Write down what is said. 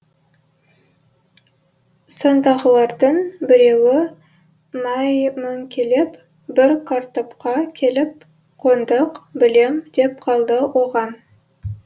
сондағылардың біреуі мәймөңкелеп бір картопқа келіп қондық білем деп қалды оған